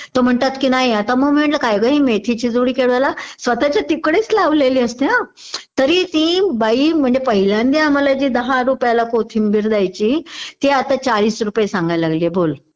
तो म्हणतात कि नाही आता मग मी म्हणलं कि काय ग हि मेथीची जुडी केवढ्याला? स्वतःच्या तिकडेच लावलेली असते हा तरी ती बाई म्हणजे पहिल्यांदा आम्हाला जी दहा रुपयाला कोथिंबीर द्यायची ती आता चाळीस रुपये सांगायलागलीये बोल